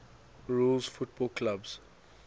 rules football clubs